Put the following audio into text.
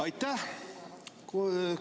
Aitäh!